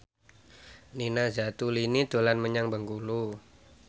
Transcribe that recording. Nina Zatulini dolan menyang Bengkulu